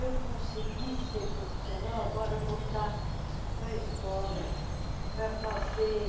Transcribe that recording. Eu consegui ser profissional, agora voltar para a escola, para fazer,